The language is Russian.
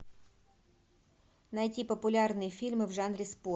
найти популярные фильмы в жанре спорт